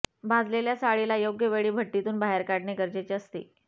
भाजलेल्या साळीला योग्य वेळी भट्टीतून बाहेर काढणे गरजेचे असते